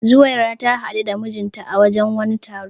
Zuwaira ta hadu da mijinta a wajen wani taro.